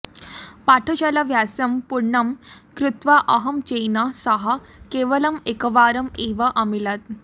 पाठशालाभ्यासं पूर्णं कृत्वा अहं तेन सह केवलम् एकवारम् एव अमिलम्